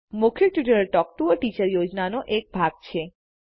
મૌખિક tutorial talk to a teacher યોજનાનો ભાગ છે